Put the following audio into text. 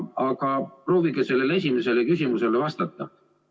Aga proovige sellele esimesele küsimusele vastata.